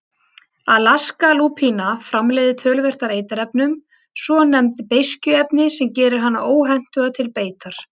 Alaskalúpína framleiðir töluvert af eiturefnum, svonefnd beiskjuefni, sem gerir hana óhentuga til beitar.